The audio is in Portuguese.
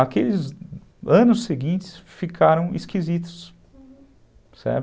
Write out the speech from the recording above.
Aqueles anos seguintes ficaram esquisitos, certo?